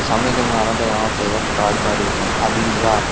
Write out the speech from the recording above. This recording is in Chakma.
samnedi mui aro degongotte iyot truck gari ekkan adi jaar.